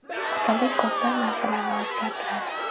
Otalik ko‘plab narsalarni o‘zgartiradi.